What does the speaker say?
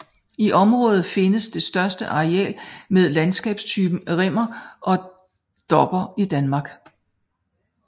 I området findes det største areal med landskabstypen rimmer og dobber i Danmark